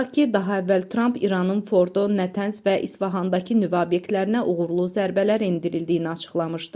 Xatırladaq ki, daha əvvəl Tramp İranın Fordo, Natanz və İsfahandakı nüvə obyektlərinə uğurlu zərbələr endirildiyini açıqlamışdı.